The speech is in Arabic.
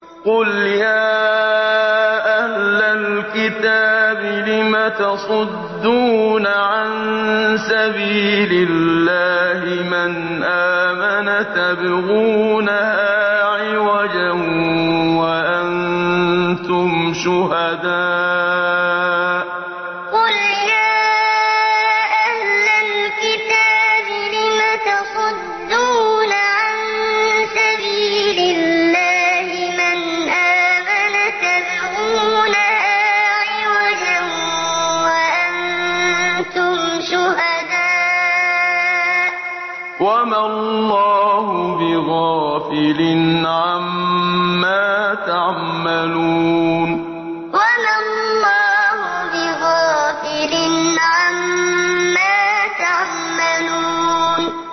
قُلْ يَا أَهْلَ الْكِتَابِ لِمَ تَصُدُّونَ عَن سَبِيلِ اللَّهِ مَنْ آمَنَ تَبْغُونَهَا عِوَجًا وَأَنتُمْ شُهَدَاءُ ۗ وَمَا اللَّهُ بِغَافِلٍ عَمَّا تَعْمَلُونَ قُلْ يَا أَهْلَ الْكِتَابِ لِمَ تَصُدُّونَ عَن سَبِيلِ اللَّهِ مَنْ آمَنَ تَبْغُونَهَا عِوَجًا وَأَنتُمْ شُهَدَاءُ ۗ وَمَا اللَّهُ بِغَافِلٍ عَمَّا تَعْمَلُونَ